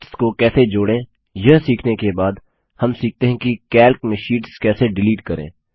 sheets को कैसे जोड़ें यह सीखने के बाद हम सीखते है कि कैल्क में शीट्स कैसे डिलीट करें